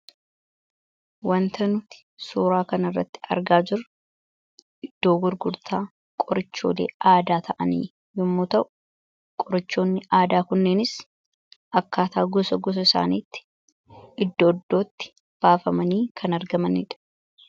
Wanti nuti suuraa kana irratti argaa jirru, iddoo gurgurtaa qorichoolee aadaa ta'anii yommuu ta'u, qorichoonni aadaa kunneenis akkaataa gosa gosa isaaniitti iddoo iddootti baafamanii kan argamanidha.